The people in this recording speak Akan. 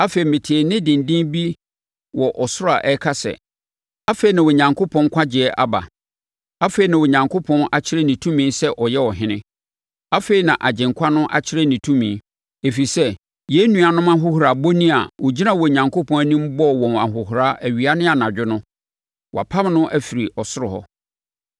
Afei, metee nne denden bi wɔ ɔsoro a ɛka sɛ, “Afei, na Onyankopɔn nkwagyeɛ aba! Afei, na Onyankopɔn akyerɛ ne tumi sɛ ɔyɛ Ɔhene! Afei, na nʼAgyenkwa no akyerɛ ne tumi, ɛfiri sɛ, yɛn nuanom no ahohorabɔni a ɔgyinaa Onyankopɔn anim bɔɔ wɔn ahohora awia ne anadwo no, wɔapam no afiri soro no.